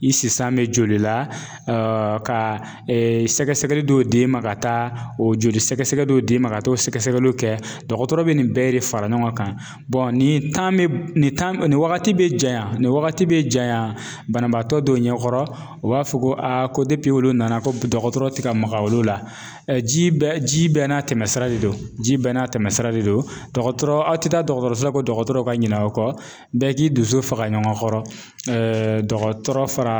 I si san bɛ joli la ka sɛgɛsɛgɛli dɔw d'i ma ka taa o joli sɛgɛsɛgɛ dɔw d'e ma ka t'o sɛgɛsɛgɛliw kɛ dɔgɔtɔrɔ bɛ nin bɛɛ de fara ɲɔgɔn kan nin bɛ nin bɛ nin wagati bɛ janya nin wagati bɛ janya banabaatɔ dɔw ɲɛkɔrɔ u b'a fɔ ko ko olu nana ko dɔgɔtɔrɔ tɛ ka maga olu la ji bɛɛ ji bɛɛ n'a tɛmɛsira de do ji bɛɛ n'a tɛmɛsira de do dɔgɔtɔrɔso aw tɛ taa dɔgɔtɔrɔso la ko dɔgɔrɔtɔw ka ɲina aw kɔ bɛɛ k'i dusu faga ɲɔgɔn kɔrɔ dɔgɔtɔrɔ fara